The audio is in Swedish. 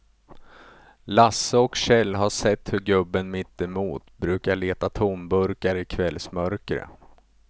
Lasse och Kjell har sett hur gubben mittemot brukar leta tomburkar i kvällsmörkret.